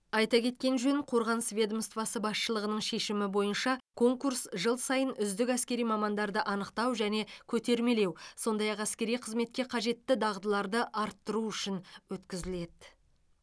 айта кеткен жөн қорғаныс ведомствосы басшылығының шешімі бойынша конкурс жыл сайын үздік әскери мамандарды анықтау және көтермелеу сондай ақ әскери қызметке қажетті дағдыларды арттыру үшін өткізіледі